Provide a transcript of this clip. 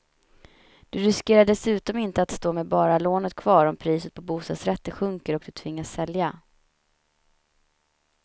Du riskerar dessutom inte att stå med bara lånet kvar om priset på bostadsrätter sjunker och du tvingas sälja.